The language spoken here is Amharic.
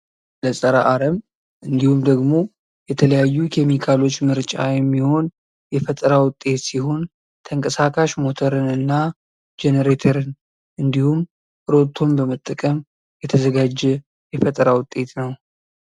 ለፀረ አረም እንዲሁም ደግሞ የተለያዩ ኬሚካሎች ምርጫ የሚሆን የፈጠራ ውጤት ሲሆን ተንቀሳቃሽ ሞተርንና ጄኔረተርን እንዲሁም ሮቶን በመጠቀም የተዘጋጀ የፈጠራ ውጤት ነው።